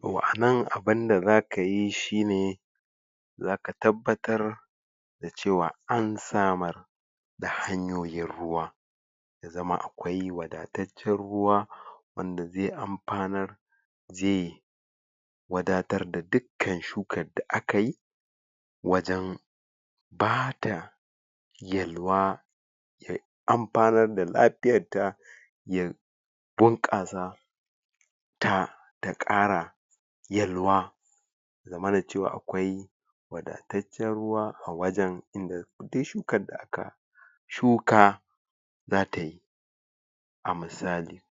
to a nan abunda zakayi shine zaka tabbatar da cewa an samar da hanyoyin ruwa ya zama akwai wadataccen ruwa wanda zai amfanar zai wadatar da dukkan shukar da akai wajen bata yalwa ya amfanar da lafiyar ta ya bunkasa ta takara yalwa ya zamana cewa akwai wadataccen ruwa a wajen da dai shukar da aka shuka zatayi a misali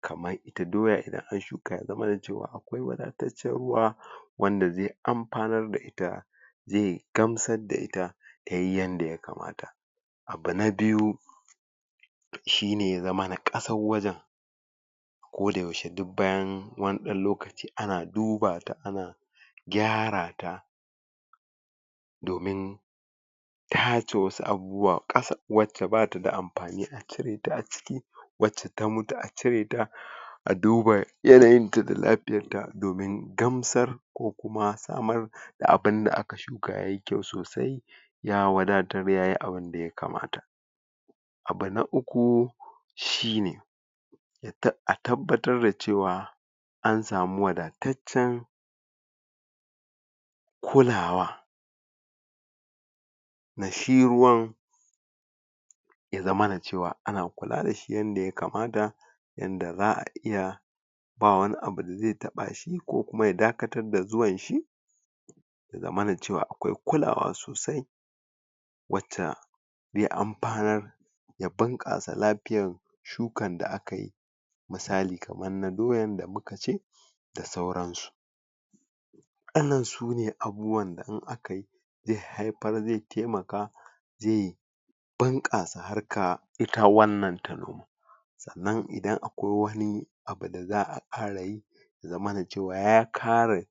kamar ita doya idan an shuka ya zamana cewa akwai wadataccen ruwa wanda zai amfanar da ita zai gamsar da ita tayi yanda ya kamata abu na biyu shine ya zamana kasar wajen koda yaushe duk bayan wani dan lokaci ana duba ta ana kyara ta domin tace wasu abubuwa kasa wadda take bata da amfani a cire ta a ciki wacce ta mutu a cire ta a duba yanayin ta da lafiyarta domin gamsar ko kuma samar da abinda aka shuka yayi kyau sosai ya wadatar yayi abinda ya kamata abu na ukku shine a tabbatar da cewa an samu wadataccen kulawa na shi ruwan ya zamana cewa ana kula dashi yanda ya kamata yanda za'a iya bawa wani abu dazai taba shi ko kuma ya dakatar da zuwan shi ya zamana ace akwai kulawa sosai wacca zai amfanar ya bunkasa lafiyar shukan da akai misali kaman na doyan da muka ce da sauran su wadannan sune abubuwan da in akayi zai haifar zai taimaka zai bunkasa harka ita wannan ta noma sannan idan akwai wani abu da za'a farayi ya zamana cewa ya kare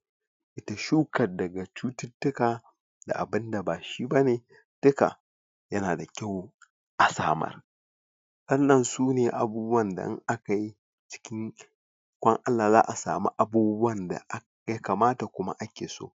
shukar daga cututtuka da abinda bashi bane duka yana da kyau a samar wannan sune abubuwan da in akayi cikin ikon Allah za'a samu abubuwan da ya kamata kuma ake so